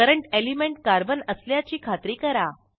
current element carbon असल्याची खात्री करा